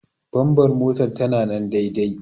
Bambar motar ta na nan daidai.